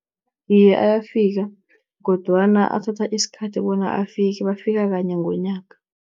Iye, ayafika kodwana athatha isikhathi bona afike, bafika kanye ngonyaka.